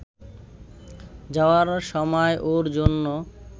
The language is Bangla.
যাওয়ার সময় ওর জন্য